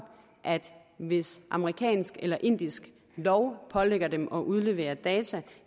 at hvis amerikansk eller indisk lov pålægger dem at udlevere data